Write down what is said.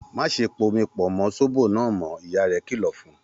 Má ṣe pomi pọ̀ mọ́ sóbò náà mọ́! Ìyá rẹ̀ kìlọ̀ fún un.